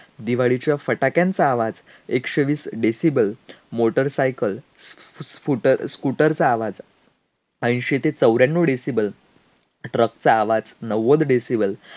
दिवाळीच्या फटाक्यांचा आवाज एकशे वीस decibel, motor cycle, scooter चा आवाज एंशी ते चौऱ्यांनव decibel, truck चा आवाज नव्वद decibel